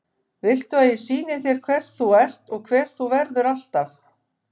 Viltu að ég sýni þér hver þú ert og hver þú verður alltaf?